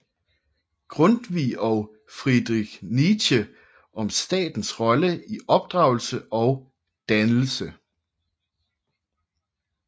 Grundtvig og Friedrich Nietzsche om statens rolle i opdragelse og dannelse